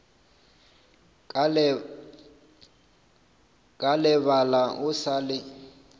ka lebala o sa le